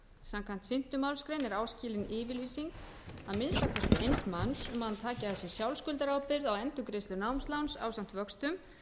samkvæmt fimmtu málsgrein er áskilin yfirlýsing að minnsta kosti eins manns um að hann taki að sér sjálfskuldarábyrgð á endurgreiðslu námsláns ásamt vöxtum